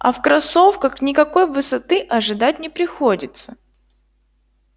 а в кроссовках никакой высоты ожидать не приходится